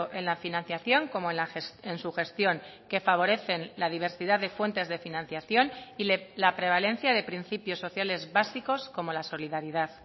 en la financiación como en su gestión que favorecen la diversidad de fuentes de financiación y la prevalencia de principios sociales básicos como la solidaridad